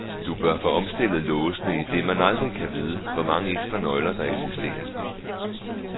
Du bør få omstillet låsene, idet man aldrig kan vide, hvor mange ekstra nøgler der eksisterer.